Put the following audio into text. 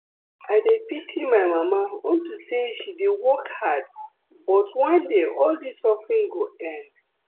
I dey pity my mama unto say she dey work hard but one day all dis suffering go end